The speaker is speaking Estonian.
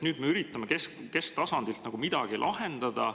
Nüüd me üritame kesktasandilt midagi lahendada.